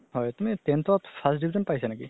হয় তুমি tenth ত first division পাইছা নেকি?